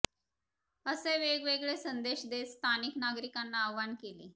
असे वेगवेगळे संदेश देत स्थानिक नागरिकांना आव्हान केले